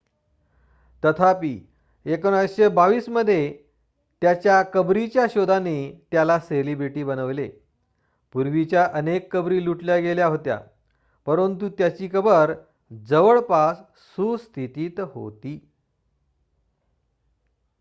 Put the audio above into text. तथापि 1922 मध्ये त्याच्या कबरीच्या शोधाने त्याला सेलिब्रिटी बनविले पूर्वीच्या अनेक कबरी लुटल्या गेल्या होत्या परंतु त्याची कबर जवळपास सुस्थितीत होती